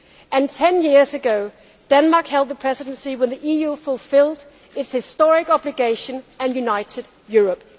And 10 years ago, Denmark held the Presidency when the EU fulfilled its historic obligation and united Europe.